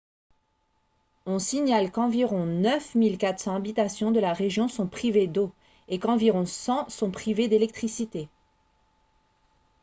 on signale qu'environ 9 400 habitations de la région sont privées d'eau et qu'environ 100 sont privées d'électricité